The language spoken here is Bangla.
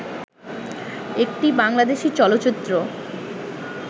একটি বাংলাদেশী চলচ্চিত্র